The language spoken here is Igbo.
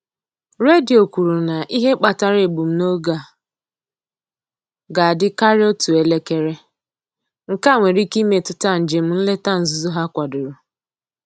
Redio kwuru na ihe kpatara egbumoge a ga-adị karịa otú elekere: nkea nwere ike imetụta njem nleta nzuzo ha kwadoro.